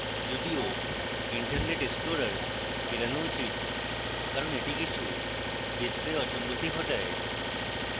যদিও internet explorer এড়ানো উচিত কারণ এটি কিছু display অসঙ্গতি ঘটায়